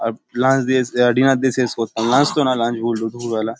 আর lunch দিস ইয়া dinner দিে শেষ করতাম দুপুর বেলা --